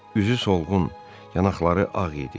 Üzü solğun, yanaqları ağ idi.